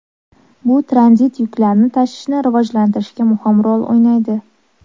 Bu tranzit yuklarni tashishni rivojlantirishda muhim rol o‘ynaydi.